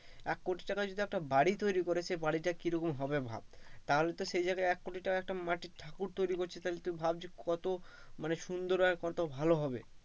এক কোটি টাকায় যদি একটা বাড়ি তৈরি করে সে বাড়িটা কিরকম হবে ভাব তাহলে তো সেই জায়গায় তো এক কোটি টাকার একটা মাটির ঠাকুর থাকো তৈরি করছে ভাবছে কত কত সুন্দর আর কত ভালো হবে,